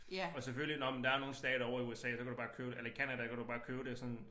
Og selvfølgelig nåh men der er nogle stater ovre i USA der kan du bare købe det eller Canada der kan du bare købe det sådan